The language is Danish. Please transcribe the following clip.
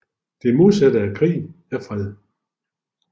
Det modsatte af krig er fred